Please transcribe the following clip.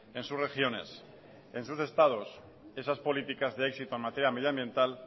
en sus regiones en sus estados esas políticas de éxito en materia medioambiental